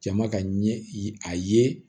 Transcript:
Jama ka ɲɛ ye a ye